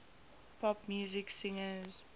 pop music singers